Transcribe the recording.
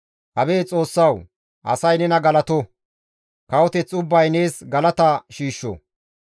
Abeet Xoossawu! Asay nena galato; kawoteth ubbay nees galata shiishsho.